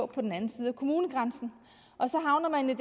på den anden side af kommunegrænsen og så havner man i